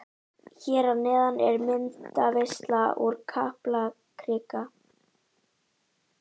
Hér að neðan er myndaveisla úr Kaplakrika.